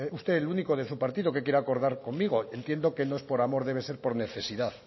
usted el único de su partido que quiere acordar conmigo entiendo que no es por amor debe ser por necesidad